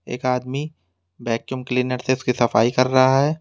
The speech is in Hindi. एक आदमी वैक्यूम क्लीनर से उसकी सफाई कर रहा है।